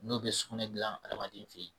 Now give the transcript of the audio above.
N'o be sugunɛ gilan adamaden fe yen